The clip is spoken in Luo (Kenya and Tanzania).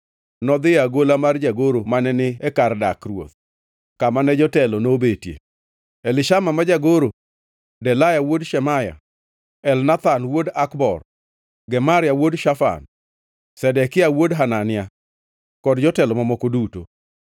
nodhi e agola mar jagoro mane ni e kar dak ruoth, kama ne jotelo nobetie: Elishama ma jagoro, Delaya wuod Shemaya, Elnathan wuod Akbor, Gemaria wuod Shafan, Zedekia wuod Hanania, kod jotelo mamoko duto.